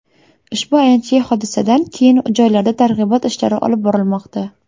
Ushbu ayanchli hodisadan keyin joylarda targ‘ibot ishlari olib borilmoqda.